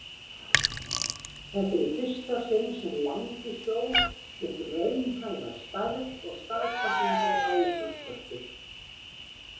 Þetta var í fyrsta sinn sem Langisjór fékk raunhæfa stærð og staðsetningu á Íslandskorti.